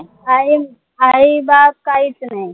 आई आई बाप काहीच नाई